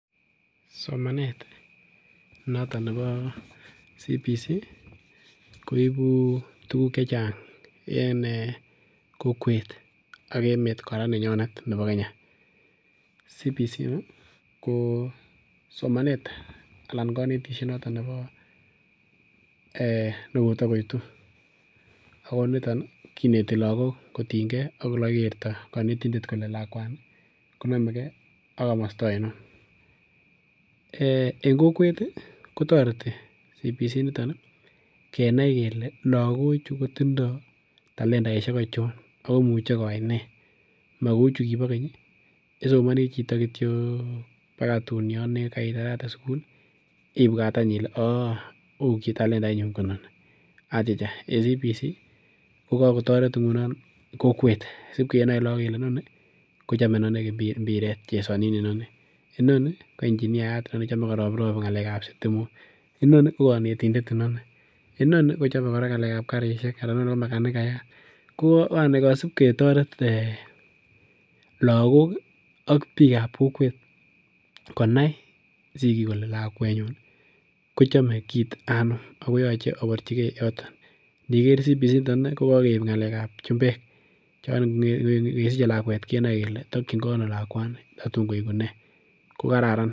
Somanet noton nebo CBC koibu tuguk chechang en kokwet ak emet koraa nenyonet nebo Kenya, CBC ko somanet anan konetishet noton nebo eeh nekotokoitu ako niton kineti lagok kotiny ngee ok olekokikerto konetindet kole lakwani konomegee ak komosto oinon, eeh en kokwet kotoreti CBC initon ii kenai kele lagochu kotindo talendaishek ochon akoimuche koyai nee, mokou chukibo keny chesomoni chito kityok baka tun yon nekit karitarate sugul ibwat any ile oo uu kitatalendainyun koinoni achicha en CBC kokokotoret ingunon kokwet sipkenai lagok kele inoni kochome imbiret chesonin inoni, inoni ko engineeyat chome koroprop sitimok, inoni kokonetindet, inoni kochome koraa ngalekab karishek anan inoni ko makanikayat ko yani kosip ketoret lagok ak bikab kokwet konai sikik kole lakwenyun kochome kit anum akoyoche oborji yoton indiker CBC initet kokokeib ngalekab chumbek chon ingesiche kenoe kele tokyingee ono tatun koiku nee.